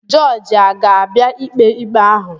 Jọọjị aga-abịa ikpe ikpe ahụ?